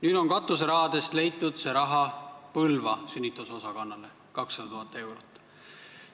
Nüüd on tänu katuserahale leitud summa Põlva sünnitusosakonna jaoks – 200 000 eurot.